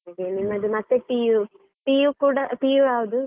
ನಿಮ್ಮದು ಮತ್ತೆ PU, PU ಕೂಡ PU ಯಾವುದು?